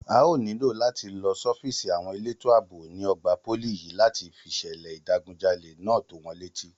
A óò nílò láti lọ sọ́fíìsì àwọn elétò àbò ní ọgbà pólì yìí láti fìṣẹ̀lẹ̀ ìdigunjalè náà tó wọn létí